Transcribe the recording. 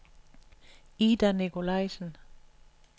Ida Nicolaisen